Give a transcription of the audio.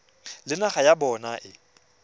le naga ya bona e